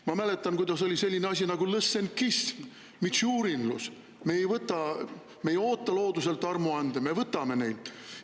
Ma mäletan, et olid sellised asjad nagu lõssenkism, mitšurinlus – me ei oota looduselt armuande, me võtame neid.